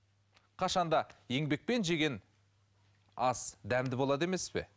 қашан да еңбекпен жеген ас дәмді болады емес пе